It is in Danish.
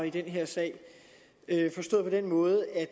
i den her sag forstået på den måde at